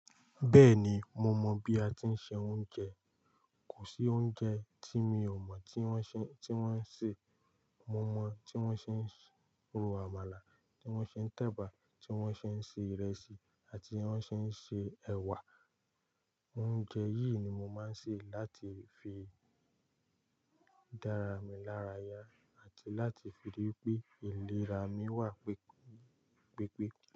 Bẹ́ẹ̀ni, mo mọ̀ bí a ti ń se oúnjẹ. Kò sí oúnjẹ tí mi ò mọ̀ tí wọ́n ń ṣe. Mo mọ̀ tí wọ́n ṣe ń ro àmàlà, tí wọ́n ṣe ń tẹ̀bà, tí wọ́n ṣe ń se ìrẹsì àti tí wọ́n ṣe ń se ẹ̀wà. Oúnjẹ yìí ni mo máa ń sè láti fi dá ara mi lára yá àti láti fi rí pé ìlera mi wà pípé.